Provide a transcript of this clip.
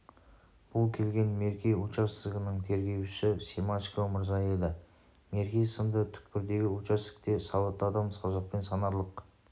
бұл келген мерке участогінің тергеушісі семашко мырза еді мерке сынды түкпірдегі участокте сауатты адам саусақпен санарлық